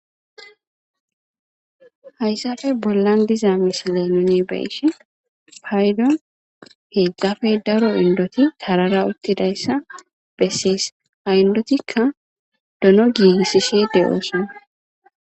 hayssafe bollan dizaa misile nuni beyishe paydo heqqafe daro indoti tarara uttidayssa bessees ha indotikka dono giigisisi de7ooson